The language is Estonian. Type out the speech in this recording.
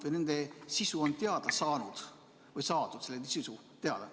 Kas nende sisu on teada saadud?